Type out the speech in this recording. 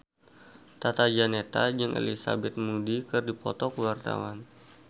Tata Janeta jeung Elizabeth Moody keur dipoto ku wartawan